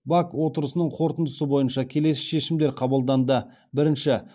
бак отырысының қорытындысы бойынша келесі шешімдер қабылданды бірінші